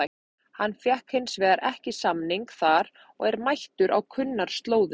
Hann fékk hins vegar ekki samning þar og er mættur á kunnar slóðir.